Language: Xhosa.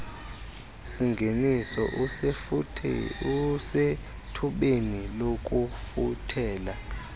singeniso usethubeni lokufuthela